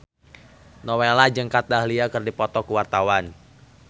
Nowela jeung Kat Dahlia keur dipoto ku wartawan